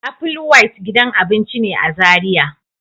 Apple White gidan abinci ne a Zaria.